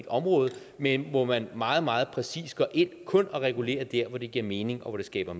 områder men hvor man meget meget præcis går ind og kun regulerer der hvor det giver mening og hvor det skaber